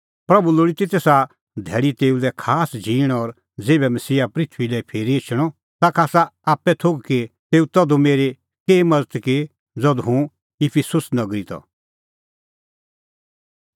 प्रभू लोल़ी ती तेसा धैल़ी तेऊ लै खास झींण की ज़ेभै मसीहा पृथूई लै फिरी एछणअ ताखा आसा आप्पै थोघ कि तेऊ तधू मेरी केही मज़त की ज़धू हुंह इफिसुस नगरी त